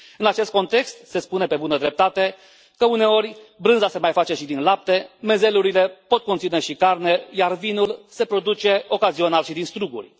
În acest context, se spune, pe bună dreptate, că uneori brânza se mai face și din lapte, mezelurile pot conține și carne, iar vinul se produce ocazional și din struguri.